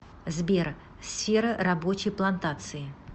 сбер сфера рабочий плантации